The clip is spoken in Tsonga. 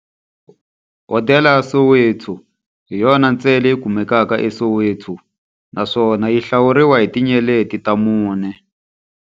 Hodela ya Soweto hi yona ntsena leyi kumekaka eSoweto, naswona yi hlawuriwa hi tinyeleti ta mune.